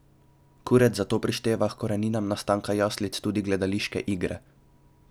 Kuret zato prišteva h koreninam nastanka jaslic tudi gledališke igre.